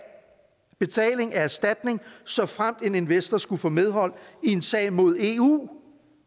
betaling af erstatning såfremt en investor skulle få medhold i en sag mod eu